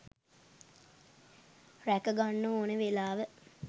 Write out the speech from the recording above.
රැක ගන්න ඕන වෙලාව.